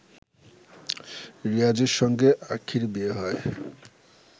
রিয়াজের সঙ্গে আখিঁর বিয়ে হয়